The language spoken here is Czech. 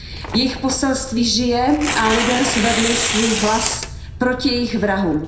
Jejich poselství žije a lidé zvedli svůj hlas proti jejich vrahům.